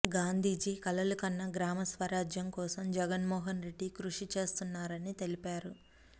గాంధీజీ కలలు కన్న గ్రామ స్వరాజ్యం కోసం జగన్మోహన్ రెడ్డి కృషి చేస్తున్నారని తెలిపారు